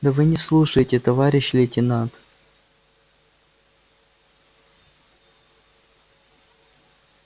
да вы не слушаете товарищ лейтенант